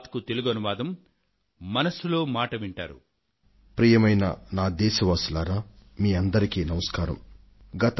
కిందటి ఏడాది మనం ఎన్నో పరీక్షలకు లోనుకావలసి వచ్చింది